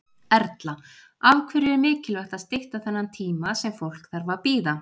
Erla: Af hverju er mikilvægt að stytta þennan tíma sem fólk þarf að bíða?